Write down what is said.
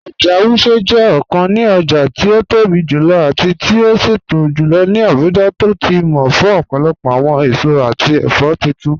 Oja Wuse jẹ ọkàn ní ọja ti o tóbi jùlọ̀ àti ti o ṣẹtọ̀ jùlọ̀ ní Abuja tó ti mọ̀ fún ọpọlọpọ awọn èṣọ̀ àti ẹfọ̀ títún